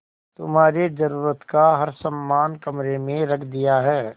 तुम्हारे जरूरत का हर समान कमरे में रख दिया है